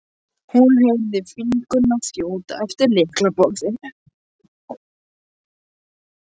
hún heyrði fingurna þjóta eftir lyklaborðinu.